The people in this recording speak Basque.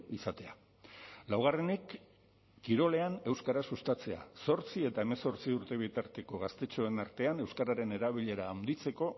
izatea laugarrenik kirolean euskara sustatzea zortzi eta hemezortzi urte bitarteko gaztetxoen artean euskararen erabilera handitzeko